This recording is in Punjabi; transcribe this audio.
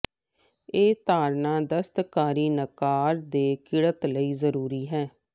ਇਹ ਧਾਰਨਾ ਦਸਤਕਾਰੀ ਨਕਾਰ ਦੇ ਿਕੜਨ ਲਈ ਜ਼ਰੂਰੀ ਹੈ